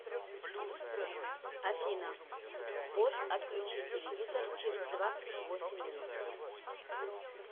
афина бот отключи телевизор через двадцать восемь минут